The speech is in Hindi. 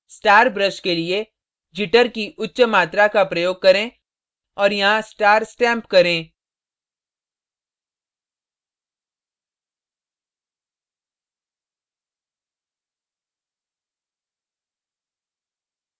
star brush के लिए jitter की उच्च मात्रा का प्रयोग करें और यहाँ star stamp करें